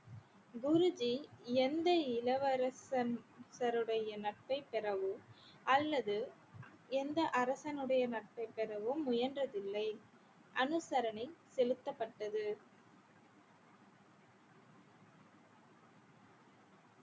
குருஜி எந்த இளவரசன் சருடைய நட்பை பெறவோ அல்லது எந்த அரசனுடைய நட்பைப் பெறவும் முயன்றதில்லை அனுசரணை செலுத்தப்பட்டது